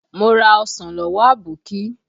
Mo ra ọsàn lọ́wọ́ Aboki